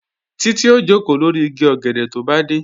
Títí ó jòkó lórí igi ọ̀gẹ̀dẹ̀ tó bá dé